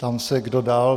Ptám se, kdo dál?